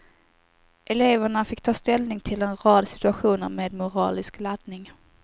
Eleverna fick ta ställning till en rad situationer med moralisk laddning.